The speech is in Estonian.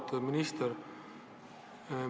Auväärt minister!